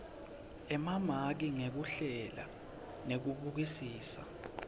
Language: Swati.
emamaki ngekuhlela nekubukisisa